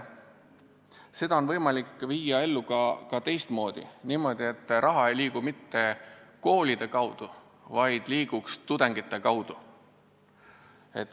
Seda on võimalik ellu viia ka teistmoodi: niimoodi, et raha ei liigu mitte koolide kaudu, vaid tudengite kaudu.